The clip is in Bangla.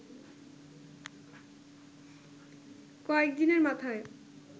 কয়েক দিনের মাথায়